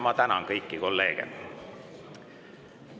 Ma tänan kõiki kolleege!